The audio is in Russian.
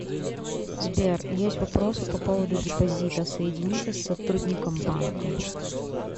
сбер есть вопросы по поводу депозита соедините с сотрудником банка